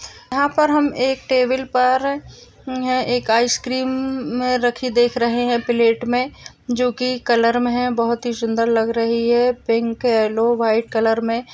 यहाँ पर हम एक टेबल पर एक आइसक्रीम रखी देख रहे है प्लेट मे जोकी कलर मे है काफी सुंदर रहे है पिक यल्लो व्हाइट कलर मे।